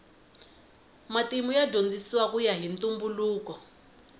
matimu ya dyondzisiwa kuya hi ntumbuluko